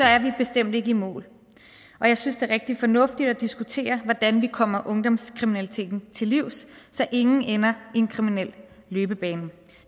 er vi bestemt ikke i mål og jeg synes det er rigtig fornuftigt at diskutere hvordan vi kommer ungdomskriminaliteten til livs så ingen ender i en kriminel løbebane